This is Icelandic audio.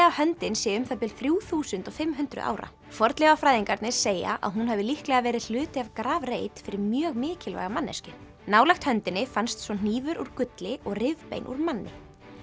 að höndin sé um það bil þrjú þúsund og fimm hundruð ára fornleifafræðingarnir segja að hún hafi líklega verið hluti af grafreit fyrir mjög mikilvæga manneskju nálægt höndinni fannst svo hnífur úr gulli og rifbein úr manni